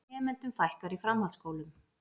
Nemendum fækkar í framhaldsskólum